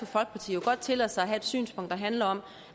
folkeparti jo godt tillade sig at have et synspunkt der handler om